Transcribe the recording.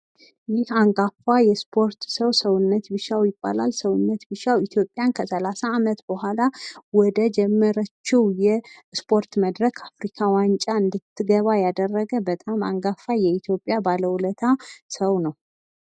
ይህ አንጋፋ የስፖርት ሰው ሰውነት ቢሻው ይባላል። ኢትዮጵያን ከ30 አመት በኋላ ወደ ጀመረችው የስፖርት መድረክ አፍሪካ ዋንጫ እንድትገባ ያደረገ በጣም አንጋፋ የኢትዮጵያ ባለውለታ ሰው ነው።